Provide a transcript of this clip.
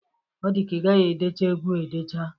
Ọ dịka ị gaghị edecha egwu a edecha.